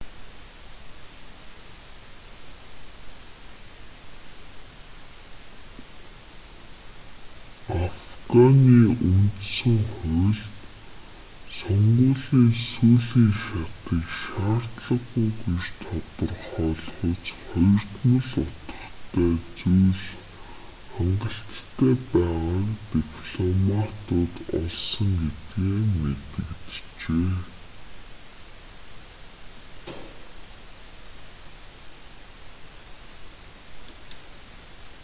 афганы үндсэн хуульд сонгуулийн сүүлийн шатыг шаардлагагүй гэж тодорхойлохуйц хоёрдмол утгатай зүйл хангалттай байгааг дипломтууд олсон гэдгээ мэдэгджээ